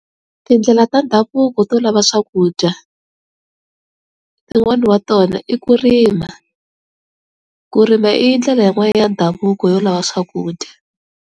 Tindlela ta ndhavuko to lava swakudya tin'wani wa tona i ku rima. Ku rima i ndlela yin'wana ya ndhavuko yo lava swakudya.